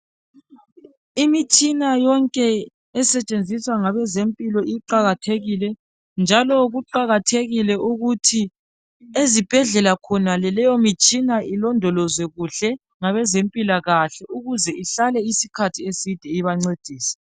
Imitshina yonke esetshenziswa ngabeze mpilakahle iqakathekile njalo kuqakathekile ukuthi ezibhedlela khonale leyo mitshina ilondolozwe kuhle ngabeze mpilakahle ukwenzela ukuthi leyo mitshina ihlale ibancedisa